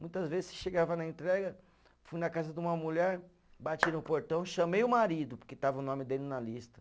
Muitas vezes, se chegava na entrega, fui na casa de uma mulher, bati no portão, chamei o marido, porque estava o nome dele na lista.